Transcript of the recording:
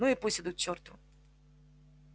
ну и пусть идут к чёрту